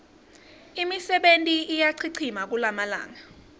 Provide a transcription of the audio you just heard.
imisebenti iyachichima kulamalanga